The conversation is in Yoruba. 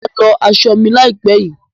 Mà á lọ aṣọ mi láìpẹ́ yìí.